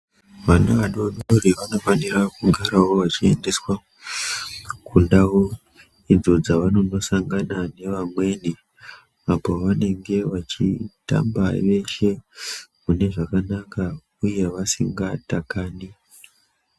Ana adori dori vanofanira kumugarawo vachiendeswa kundau idzo dzavanononosangana nevamweni apo vanenge vachitamba veshe mune zvakanaka uye vasingatakani.